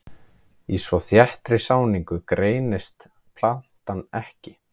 Í svo þéttri sáningu greinist plantan ekki.